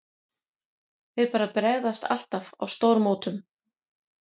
Þeir bara bregðast alltaf á stórmótum.